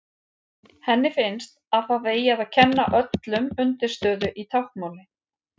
Henni finnst að það eigi að kenna öllum undirstöðu í táknmáli.